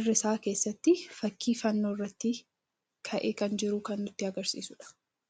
irra isaa keessatti fakkiin fannoo irratti ka'ee kan jiru kan nutti agarsiisuudha.